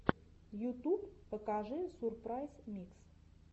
ютуб покажи сурпрайз микс